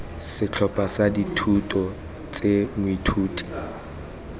setlhopha sa dithuto tse moithuti